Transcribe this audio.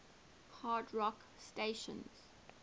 hard rock stations